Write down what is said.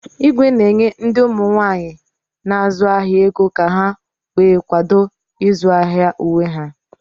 Igwe na-enye ndị ụmụ nwaanyi na-azu ahia ego ka ha wee kwado izu ahịa uwe ha.